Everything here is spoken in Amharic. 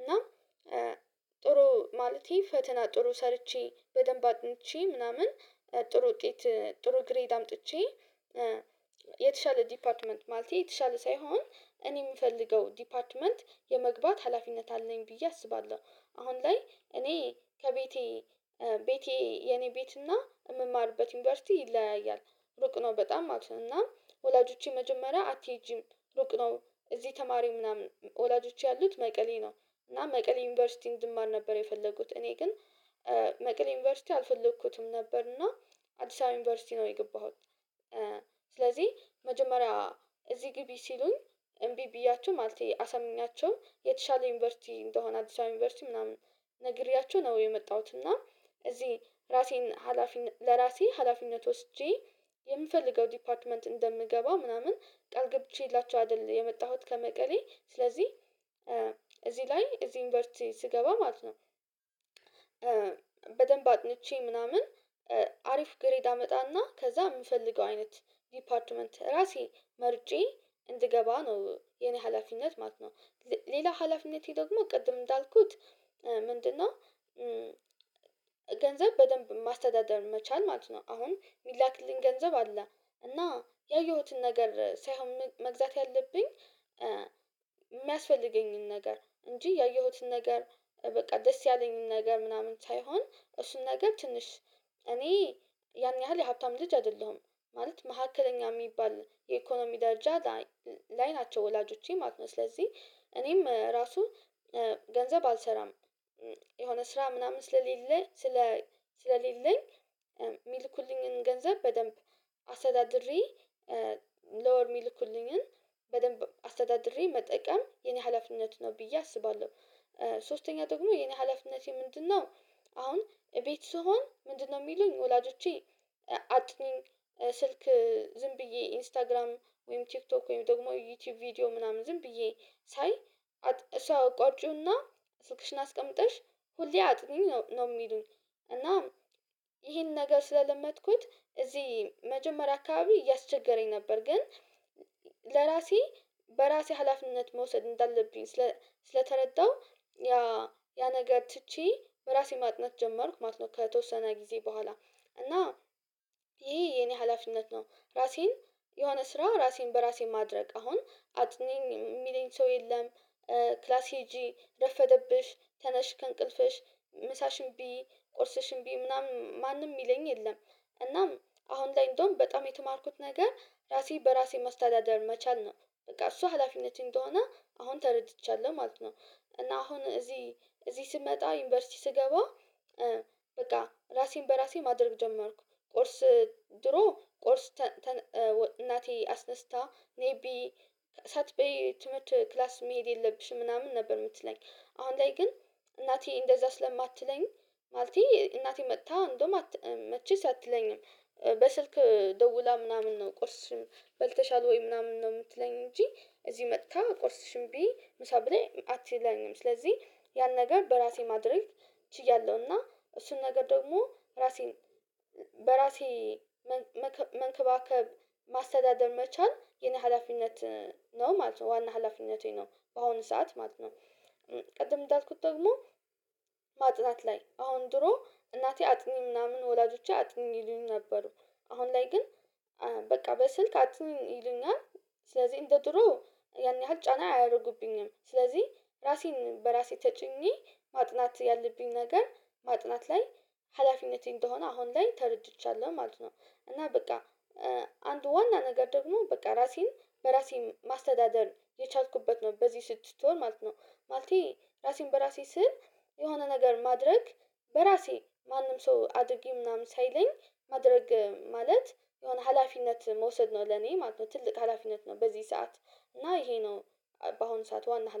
እና ጥሩ ማለቴ ፈተና ጥሩ ሰርቼ በደንብ አጥንቼ ምናምን ጥሩ ውጤት ጥሩ ግሬድ አምጥቼ የተሻለ ዲፓርትመንት ማለቴ የተሻለ ሳይሆን እኔ የምፈልገው ዲፓርትመንት የመግባት ሀላፊነት አለኝ ብዬ አስባለሁ። አሁን ላይ እኔ ከቤቴ ቤቴ የኔ ቤት እና የምማርበት ዩኒቨርሲቲ ይለያያል። ሩቅ ነው በጣም ማለት ነው። እና ወላጆቼ መጀመሪያ አትሄጂም ሩቅ ነው። እዚህ ተማሪው ምናምን ወላጆቼ ያሉት መቀሌ ነው። እና መቀሌ ዩኒቨርሲቲ እንድማር ነበር የፈለጉት። እኔ ግን መቀሌ ዩኒቨርሲቲ አልፈልኩትም ነበር። እና አዲስ አበባ ዩኒቨርሲቲ ነው የገባሁት። ስለዚህ መጀመሪያ እዚህ ግቢ ሲሉኝ እምቢ ብያችሁ ማለቴ አሰምኛችሁ የተሻለ ዩኒቨርሲቲ እንደሆነ አዲስ አበባ ዩኒቨርሲቲ ምናምን ነግሬያቸው ነው የመጣሁት እና እዚህ ራሴን ሀላፊነት ለራሴ ሀላፊነት ወስጄ የምፈልገው ዲፓርትመንት እንደምገባ ምናምን ቃል ገብቼላቸው አይደል የመጣሁት ከመቀሌ ስለዚህ እዚህ ላይ እዚህ ዩንቨርሲቲ ስገባ ማለት ነው በደንብ አጥንቼ ምናምን አሪፍ ግሬድ አመጣና ከዛ የምፈልገው አይነት ዲፓርትመንት ራሴ መርጬ እንድገባ ነው የኔ ሀላፊነት ማለት ነው። ሌላ ሀላፊነቴ ደግሞ ቅድም እንዳልኩት ምንድነው ገንዘብ በደንብ ማስተዳደር መቻል ማለት ነው። አሁን የሚላክልኝ ገንዘብ አለ። እና ያየሁትን ነገር ሳይሆን መግዛት ያለብኝ የሚያስፈልገኝን ነገር እንጂ ያየሁትን ነገር በቃ ደስ ያለኝን ነገር ምናምን ሳይሆን እሱን ነገር ትንሽ እኔ ያን ያህል የሀብታም ልጅ አይደለሁም። ማለት መካከለኛ የሚባል የኢኮኖሚ ደረጃ ላይ ናቸው ወላጆቼ ማለት ነው። ስለዚህ እኔም ራሱ ገንዘብ አልሰራም። የሆነ ስራ ምናምን ስለሌለኝ ስለ ስለሌለኝ የሚልኩልኝን ገንዘብ በደንብ አስተዳድሬ ለወር የሚልኩልኝን በደንብ አስተዳድሬ መጠቀም የኔ ሀላፍነት ነው ብዬ አስባለሁ። ሶስተኛ ደግሞ የኔ ሀላፊነቴ ምንድነው? አሁን እቤት ስሆን ምንድነው የሚሉኝ ወላጆቼ አጥኚኝ ስልክ ዝም ብዬ ኢንስታግራም ወይም ቲክቶክ ወይም ደግሞ ዩቲዩብ ቪዲዮ ምናምን ዝም ብዬ ሳይ እሱን አቋጭውና ስልክሽን አስቀምጠሽ ሁሌ አጥኚ ነው የሚሉኝ። እና ይሄን ነገር ስለለመድኩት እዚህ መጀመሪያ አካባቢ እያስቸገረኝ ነበር። ግን ለራሴ በራሴ ሀላፊነት መውሰድ እንዳለብኝ ስለተረዳሁ ያ ያ ነገር ትቼ በራሴ ማጥናት ጀመርኩ ማለት ነው ከተወሰነ ጊዜ በኋላ። እና ይሄ የኔ ሀላፊነት ነው። ራሴን የሆነ ስራ ራሴን በራሴ ማድረግ አሁን አጥኚኝ የሚለኝ ሰው የለም። ክላስ ሄጂ፣ ረፈደብሽ፣ ተነሽ፣ ከእንቅልፍሽ፣ ምሳሽን ብይ፣ ቁርስሽን ብይ ምናምን ማንም የሚለኝ የለም። እናም አሁን ላይ እንደውም በጣም የተማርኩት ነገር ራሴ በራሴ መስተዳደር መቻል ነው። በቃ እሱ ሀላፊነት እንደሆነ አሁን ተረድቻለሁ ማለት ነው። እና አሁን እዚህ እዚህ ስመጣ ዩኒቨርሲቲ ስገባ ራሴን በራሴ ማድረግ ጀመርኩ። ቁርስ ድሮ ቁርስ እናቴ አስነስታ ነይ ብይ ሳትበይ ትምህርት ክላስ መሄድ የለብሽም ምናምን ነበር የምትለኝ። አሁን ላይ ግን እናቴ እንደዛ ስለማትለኝ ማለቴ እናቴ መጥታ እንደውም መቼስ አትለኝም። በስልክ ደውላ ምናምን ነው ቁርስሽን በልተሻል ወይ? ምናምን ነው የምትለኝ እንጂ እዚህ መጥታ ቆርስሽን ብዬ ምሳ ብለይ አትለኝም። ስለዚህ ያን ነገር በራሴ ማድረግ ችያለሁ። እና እሱን ነገር ደግሞ ራሴን በራሴ መንከባከብ ማስተዳደር መቻል የኔ ሀላፊነት ነው ማለት ነው። ዋና ሀላፊነቴ ነው በአሁኑ ሰዓት ማለት ነው፤ ቅድም እንዳልኩት ደግሞ ማጥናት ላይ አሁን ድሮ እናቴ አጥኚ ምናምን ወላጆቼ አጥኚ ይሉኝ ነበር። አሁን ላይ ግን በቃ በስልክ አጥኝ ይሉኛል። ስለዚህ እንደ ድሮ ያን ያህል ጫና አያደርጉብኝም። ስለዚህ ራሴን በራሴ ተጭኜ ማጥናት ያለብኝ ነገር ማጥናት ላይ ሀላፊነቴ እንደሆነ አሁን ላይ ተረድቻለሁ ማለት ነው። እና በቃ አንድ ዋና ነገር ደግሞ በቃ ራሴን በራሴ ማስተዳደር የቻልኩበት ነው በዚህ ስድስድት ወር ማለት ነው። ማለቴ ራሴን በራሴ ስል የሆነ ነገር ማድረግ በራሴ ማንም ሰው አድርጊ ምናምን ሳይለኝ ማድረግ ማለት የሆነ ሀላፊነት መውሰድ ነው ለኔ ማለት ነው። ትልቅ ሀላፊነት ነው በዚህ ሰዓት። እና ይሄ ነው በአሁን ሰዓት ዋና ህላር